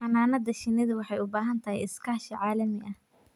Xannaanada shinnidu waxay u baahan tahay iskaashi caalami ah.